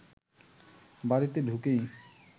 বাড়িতে ঢুকেই